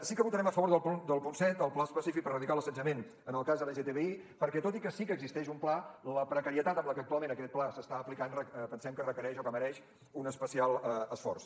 sí que votarem a favor del punt set el pla específic per erradicar l’assetjament en el cas lgtbi perquè tot i que sí que existeix un pla la precarietat amb què actualment aquest pla s’està aplicant pensem que requereix o que mereix un especial esforç